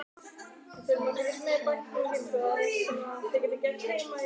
Leikskólabörn: Hvað hefur hann synt langt?